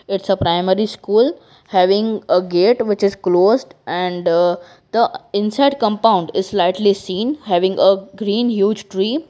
its a primary school having a gate which is closed and the inside compound is slightly seen having a green huge tree.